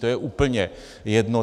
To je úplně jedno.